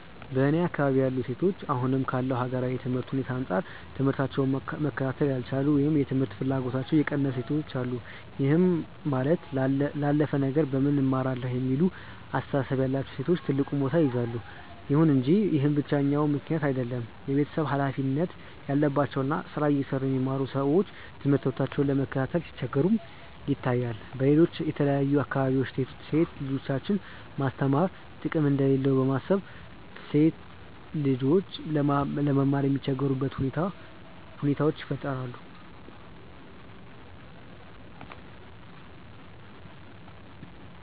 በእኔ አካባቢ ያሉ ሴቶች አሁን ካለው ሀገራዊ የትምህርት ሁኔታ አንጻር ትምህታቸውን መከታተል ያልቻሉ ወይም የትምህርት ፍላጎታቸው የቀነሰ ሴቶች አሉ። ይህም ማለት ላላፍ ነገር ለምን እማራለሁ የሚለው አስተሳሰብ ያላቸው ሴቶች ትልቁን ቦታ ይይዛሉ። ይሁን እንጂ ይህ ብቸኛው ምክንያት አይደለም። የቤተሰብ ሀላፊነት ያለባቸው እና ስራ እየሰሩ የሚማሩ ሰዎች ትምህርታቸውን ለመከታተል ሲቸገሩም ይታያል። በሌሎች የተለያዩ አካባቢዎች ሴት ልጆችን ማስተማር ጥቅም እንደሌለው በማሰብ ሴት ልጆች ለመማር የሚቸገሩባቸው ሁኔታዎች ይፈጠራሉ።